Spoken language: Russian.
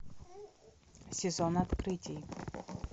сезон открытий